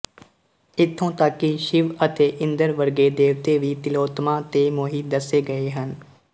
ਇਥੋਂ ਤੱਕ ਕਿ ਸ਼ਿਵ ਅਤੇ ਇੰਦਰ ਵਰਗੇ ਦੇਵਤੇ ਵੀ ਤਿਲੋਤਮਾ ਤੇ ਮੋਹਿਤ ਦੱਸੇ ਗਏ ਹਨ